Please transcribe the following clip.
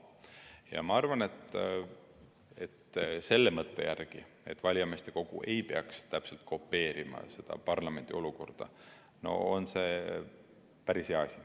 Ja ma arvan, et selle mõtte järgi, et valijameeste kogu ei peaks täpselt kopeerima parlamendi olukorda, on see päris hea asi.